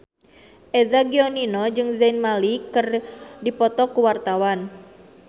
Eza Gionino jeung Zayn Malik keur dipoto ku wartawan